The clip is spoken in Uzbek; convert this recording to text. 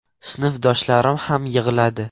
Sinfdoshlarim ham yig‘ladi.